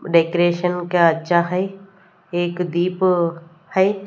Decoration का अच्छा है एक दीप है।